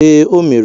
Ee, o mere